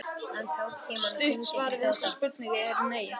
Stutta svarið við þessari spurningu er nei.